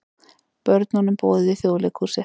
Börnum boðið í Þjóðleikhúsið